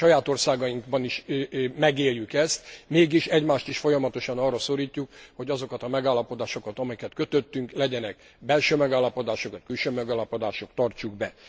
A saját országainkban is megéljük ezt, mégis egymást is folyamatosan arra szorítjuk, hogy azokat a megállapodásokat, amiket kötöttünk legyenek belső megállapodások, vagy külső megállapodások tartsuk be.